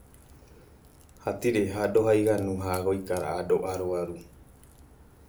Hatiri handũ ha ĩganũ ha gũikara andũ arũaru.